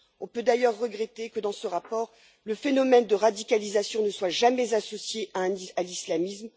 On peut d'ailleurs regretter que, dans ce rapport, le phénomène de radicalisation ne soit jamais associé à l'islamisme.